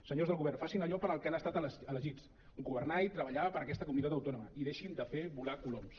senyors del go·vern facin allò per al que han estat elegits governar i treballar per a aquesta comu·nitat autònoma i deixin de fer volar coloms